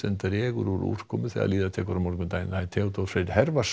dregur úr úrkomu þegar líður á morgundaginn Theodór Freyr